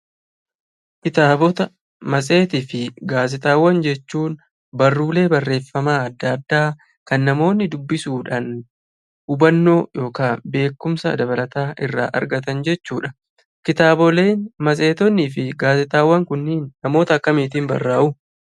Kitaabota, matseetii fi gaazexaawwan jechuun barruulee barreeffamaa adda addaa kan namoonni dubbisuudhaan hubannoo yookan beekumsa dabalataa irraa argatan jechuudha. Kitaaboleen matseetonnii fi gaazexaawwan kunniin namoota akkamiitiin barraa'uu?